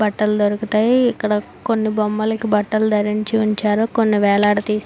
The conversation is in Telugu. బట్టలు దొరుకుతాయి. ఇక్కడ కొని బొమ్మలకి బట్టలు ధరించిఉంచారు కొన్ని వేలాడదీసారు --